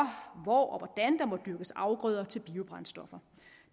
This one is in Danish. hvor og må dyrkes afgrøder til biobrændstoffer